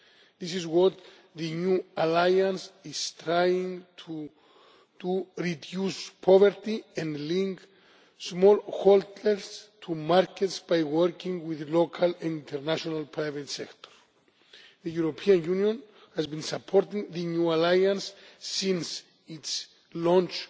This is what the New Alliance is trying to do reduce poverty and link smallholders to markets by working with the local and international private sector. The European Union has been supporting the New Alliance since its launch